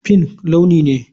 Pink launi ne.